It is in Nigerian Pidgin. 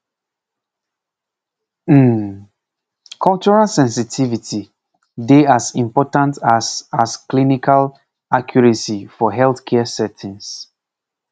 pause um cultural sensitivity dey as important as as clinical accuracy for healthcare settings